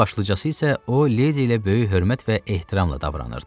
Ən başlıcası isə o Ledi ilə böyük hörmət və ehtiramla davranırdı.